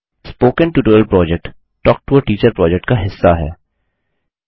spoken tutorial project talk to a teacher project का हिस्सा है